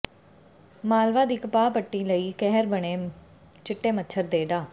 ਮਾਲਵਾ ਦੀ ਕਪਾਹ ਪੱਟੀ ਲਈ ਕਹਿਰ ਬਣੇ ਚਿੱਟੇ ਮੱਛਰ ਨੇ ਡਾ